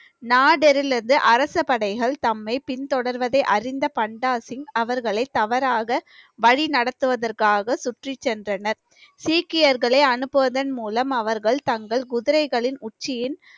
நாடரிலிருந்து அரசப்படைகள் தம்மை பின்தொடர்வதை அறிந்த பண்டாசிங் அவர்களை தவறாக வழி நடத்துவதற்காக சுற்றிச் சென்றனர் சீக்கியர்களை அனுப்புவதன் மூலம் அவர்கள் தங்கள் குதிரைகளின் உச்சியின்